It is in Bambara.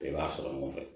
Bɛɛ b'a sɔrɔ ɲɔgɔn fɛ